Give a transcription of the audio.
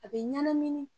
A bɛ ɲɛnamini